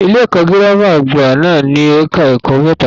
Ilé-ẹ̀kọ́ girama àgbà náà ní ẹka ẹ̀kọ́ mẹ́ta.